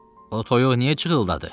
O toyuq niyə cıhıldadı?